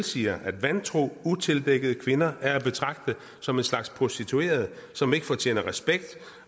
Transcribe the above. siger at vantro utildækkede kvinder er at betragte som en slags prostituerede som ikke fortjener respekt